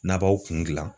N'a b'aw kun gilan